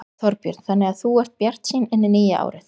Þorbjörn: Þannig að þú ert bjartsýn inn í nýja árið?